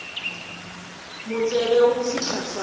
mo tsebe go fihla fao